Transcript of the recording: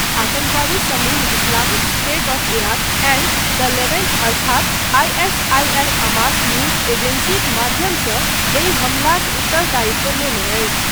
आतङ्कवादी समूह Islamic State of Iraq and the Levant अर्थात ISIL Amaq news एजेंसीक माध्यमसँ एहि हमलाक उत्तरदायित्व लेने अछि।